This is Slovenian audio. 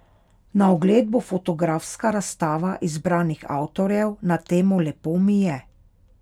Na ogled bo fotografska razstava izbranih avtorjev na temo Lepo mi je.